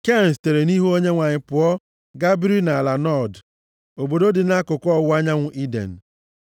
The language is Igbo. Ken sitere nʼihu Onyenwe anyị pụọ gaa biri nʼala Nọd, + 4:16 Nọd pụtara Awagharị Nke a dị nʼamaokwu \+xt 4:12,16\+xt* obodo dị nʼakụkụ ọwụwa anyanwụ Iden.